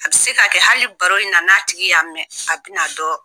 A bɛ se ka kɛ hali baro in na, n'a tigi y'a mɛn, a bɛna dɔn